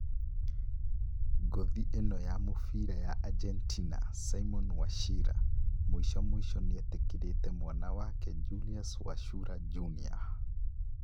Ngũthi ĩno ya mũbira ya Argentina, Simon Wachira, mũico mũico nĩetĩkĩrĩte mwana wake Julius Wachura Juniour